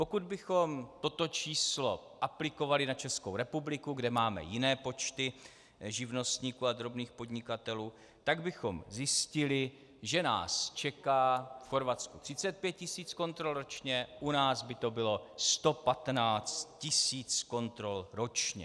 Pokud bychom toto číslo aplikovali na Českou republiku, kde máme jiné počty živnostníků a drobných podnikatelů, tak bychom zjistili, že nás čeká - v Chorvatsku 35 tisíc kontrol ročně, u nás by to bylo 115 tisíc kontrol ročně.